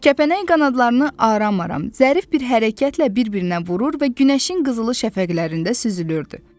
Kəpənək qanadlarını aram-aram, zərif bir hərəkətlə bir-birinə vurur və günəşin qızılı şəfəqlərində süzülürdü.